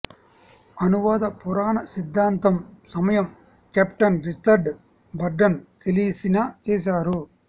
అనువాద పురాణ సిద్ధాంతం సమయం కెప్టెన్ రిచర్డ్ బర్టన్ తెలిసిన చేశారు